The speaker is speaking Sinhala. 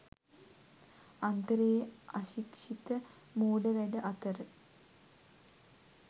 අන්තරයේ අශික්ෂිත මෝඩ වැඩ අතර